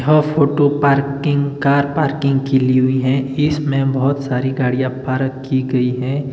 Half photo parking car parking की ली हुई है। इसमें बहुत सारी गाड़ियां पारक की गई हैं।